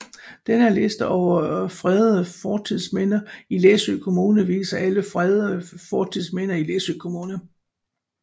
Denne liste over fredede fortidsminder i Læsø Kommune viser alle fredede fortidsminder i Læsø Kommune